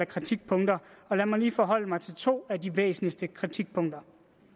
kritikpunkter og lad mig lige forholde mig til to af de væsentligste kritikpunkter